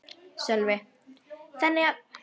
Sölvi: Þannig að þetta er langþráð hjá ykkur félögunum?